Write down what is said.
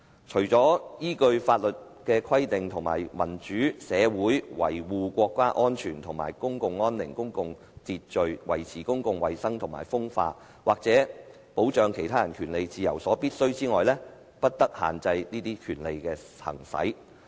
除依法律之規定，且為民主社會維護國家安全或公共安寧、公共秩序、維持公共衞生或風化、或保障他人權利自由所必要者外，不得限制此種權利之行使。